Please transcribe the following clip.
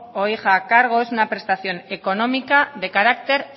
o hijo a cargo es una prestación económica de carácter